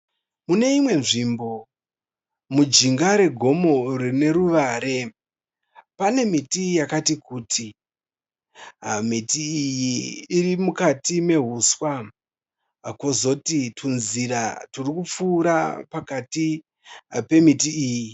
Muneimwe nzvimbo mujinga regomo rine ruware. Pane miti yakati kuti. Miti iyi iri mukati mehuswa, kozoti tunzira turikupfuura pakati pemiti iyi.